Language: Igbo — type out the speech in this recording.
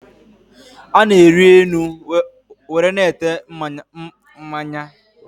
Ana-eri enu nwere na-ete mmanya